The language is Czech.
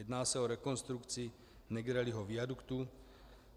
Jedná se o rekonstrukci Negrelliho viaduktu.